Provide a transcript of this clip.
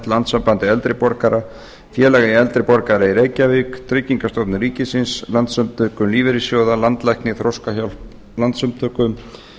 landssambandi eldri borgara félagi eldri borgara í reykjavík tryggingastofnun ríkisins landssamtökum lífeyrissjóða landlækni þroskahjálp landssamtökum